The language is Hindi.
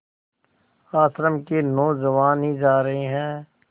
आश्रम के नौजवान ही जा रहे हैं